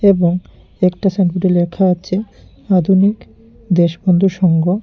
এবং একটা সাইনবোর্ডে লেখা আছে আধুনিক দেশবন্ধু সংঘ।